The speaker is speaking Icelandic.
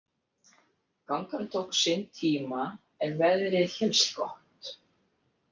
Gangan tók sinn tíma en veðrið hélst gott.